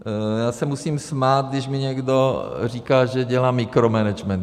Já se musím smát, když mi někdo říká, že dělám mikromanagement.